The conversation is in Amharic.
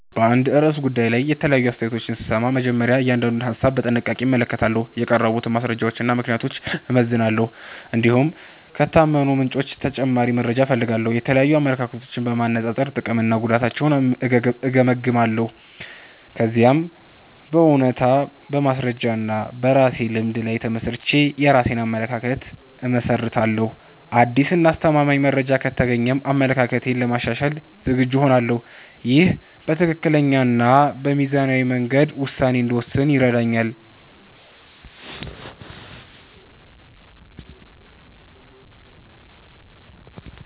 በአንድ ርዕሰ ጉዳይ ላይ የተለያዩ አስተያየቶችን ስሰማ፣ መጀመሪያ እያንዳንዱን ሀሳብ በጥንቃቄ እመለከታለሁ። የቀረቡትን ማስረጃዎችና ምክንያቶች እመዝናለሁ፣ እንዲሁም ከታመኑ ምንጮች ተጨማሪ መረጃ እፈልጋለሁ። የተለያዩ አመለካከቶችን በማነጻጸር ጥቅምና ጉዳታቸውን እገመግማለሁ። ከዚያም በእውነታ፣ በማስረጃ እና በራሴ ልምድ ላይ ተመስርቼ የራሴን አመለካከት እመሰርታለሁ። አዲስ እና አሳማኝ መረጃ ከተገኘም አመለካከቴን ለማሻሻል ዝግጁ እሆናለሁ። ይህ በትክክለኛ እና በሚዛናዊ መንገድ ውሳኔ እንድወስን ይረዳኛል።